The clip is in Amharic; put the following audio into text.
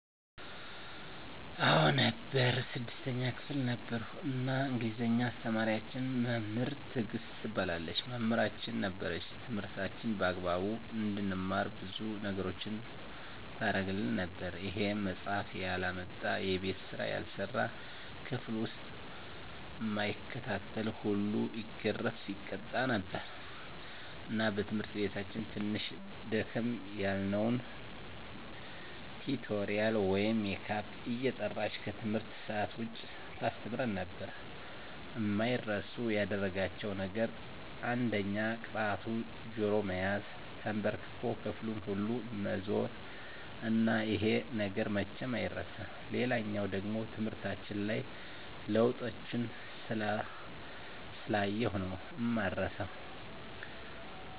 አዎ ነበር 6ተኛ ክፍል ነበርኩ እና እንግሊዝ አስተማሪያችን መምህር ትግስት ትባላለች መምህራችን ነበረች ትምህርታችንን በአግባቡ እንድንማር ብዙ ነገሮችን ታረግልን ነበር ይሄም መፃሐፍ ያላመጣ፣ የቤት ስራ ያልሰራ፣ ክፍል ዉስጥ እማይከታተል ሁሉ ይገረፍ( ይቀጣ ) ነበር እና በትምህርታችን ትንሽ ደከም ያልነዉን ቲቶሪያል ወይም ሜካፕ እየጠራች ከትምህርት ሰአት ዉጭ ታስተምረን ነበር። አማይረሱ ያደረጋቸዉ ነገር አንደኛ ቅጣቱ ጆሮ መያዝ፣ ተንበርክኮ ክፍሉን ሁሉ መዞር እና ይሄ ነገር መቼም አይረሳም። ሌላኛዉ ደሞ ትምህርታችን ላይ ለዉጦችን ስላየሁ ነዉ እማረሳዉ።